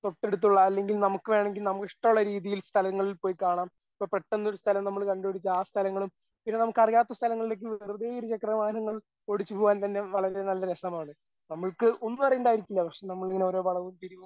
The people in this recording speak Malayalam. തൊട്ടടുത്തുള്ള അല്ലെങ്കിൽ നമുക്ക് വേണെങ്കിൽ നമുക്ക് ഇഷ്ടമുള്ള രീതിയിൽ സ്ഥലങ്ങളിൽ പോയി കാണാം. ഇപ്പോ പെട്ടെന്ന് ഒരു സ്ഥലം നമ്മൾ കണ്ടുപിടിക്കുക ആ സ്ഥലങ്ങളും പിന്നെ നമുക്ക് അറിയാത്ത സ്ഥലങ്ങളിലേക്ക് വെറുതെ ഇരുചക്രവാഹനങ്ങൾ ഓടിച്ചുപോകാൻ തന്നെ വളരെ നല്ല രസമാണ്. നമ്മൾക്ക് ഒന്നും അറിയണ്ടായിരിക്കില്ല പക്ഷേ ഇങ്ങനെ ഓരോ വളവും തിരിവും